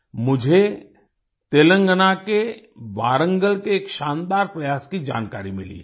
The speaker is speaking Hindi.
मुझे तेलंगाना के वारंगल के एक शानदार प्रयास की जानकारी मिली है